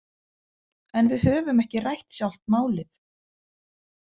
En við höfum ekki rætt sjálft málið.